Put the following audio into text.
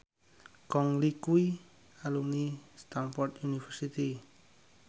Gong Li kuwi alumni Stamford University